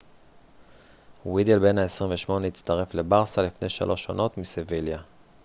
וידל בן ה 28 הצטרף לברסה לפני שלוש עונות מסביליה